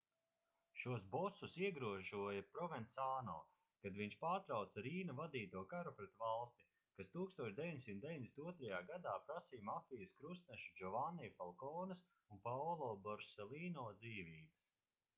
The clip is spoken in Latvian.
šos bosus iegrožoja provensāno kad viņš pārtrauca rīna vadīto karu pret valsti kas 1992. gadā prasīja mafijas krustnešu džovanni falkones un paolo borselīno dzīvības